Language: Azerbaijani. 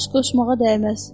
Baş qoşmağa dəyməz.